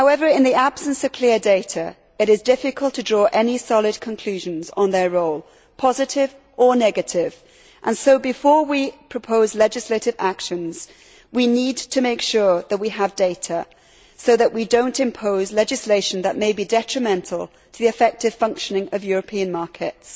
In the absence of clear data, it is difficult to draw any solid conclusions on their role positive or negative and so, before we propose legislative actions, we need to make sure that we have data so that we do not impose legislation that may be detrimental to the effective functioning of European markets.